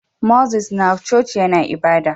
Moses na coci yAna ibada